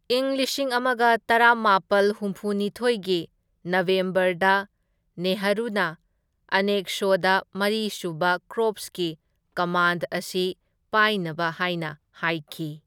ꯏꯪ ꯂꯤꯁꯤꯡ ꯑꯃꯒ ꯇꯔꯥꯃꯥꯄꯜ ꯍꯨꯝꯐꯨ ꯅꯤꯊꯣꯢꯒꯤ ꯅꯕꯦꯝꯕꯔꯗ ꯅꯦꯍꯔꯨꯅ ꯃꯅꯦꯛꯁꯣꯗ ꯃꯔꯤ ꯁꯨꯕ ꯀꯣꯔꯞꯁꯀꯤ ꯀꯃꯥꯟꯗ ꯑꯁꯤ ꯄꯥꯏꯅꯕ ꯍꯥꯏꯅ ꯍꯥꯏꯈꯤ꯫